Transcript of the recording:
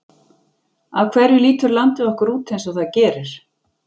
Af hverju lítur landið okkar út eins og það gerir?